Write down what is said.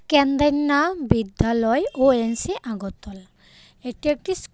কেনদেইননা বিদ্যালয় ও_এন_সি আগরতলা এটি একটি স্কুল.